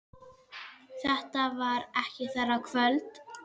Þetta var ekki þeirra kvöld.